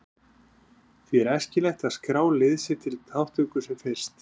Því er æskilegt að skrá lið sitt til þátttöku sem fyrst.